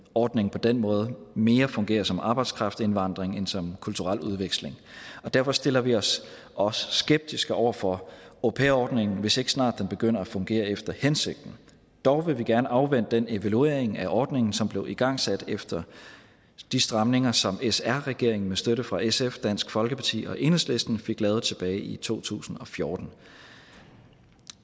ordningen på den måde mere fungerer som arbejdskraftindvandring end som en kulturel udveksling og derfor stiller vi os også skeptiske over for au pair ordningen hvis den ikke snart begynder at fungere efter hensigten dog vil vi gerne afvente den evaluering af ordningen som blev igangsat efter de stramninger som sr regeringen med støtte fra sf dansk folkeparti og enhedslisten fik lavet tilbage i to tusind og fjorten